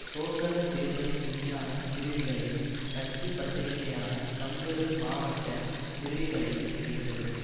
சோசக தேர்தல் விஞ்ஞான பிரதிகளையும் கட்சி பத்திரிகையான கம்கறு மாவட்ட பிரதிகளையும் எடுத்தது